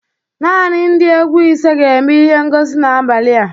Naanị ndị egwu ise ga-eme ihe ngosi n'abalị a